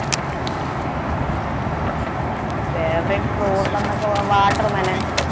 favourite fruit എന്നൊക്കെ water melon